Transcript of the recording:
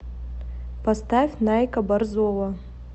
поставь найка борзова